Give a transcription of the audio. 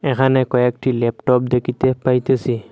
এখানে কয়েকটি ল্যাপটপ দেখিতে পাইতাসি।